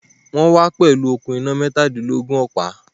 Wọ́n wá pẹ̀lú okùn iná mẹ́tādílógún ọ̀pá